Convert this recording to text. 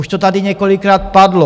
Už to tady několikrát padlo.